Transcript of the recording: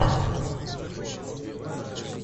включай драму